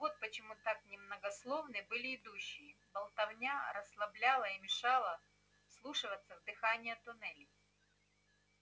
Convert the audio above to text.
вот почему так немногословны были идущие болтовня расслабляла и мешала вслушиваться в дыхание туннелей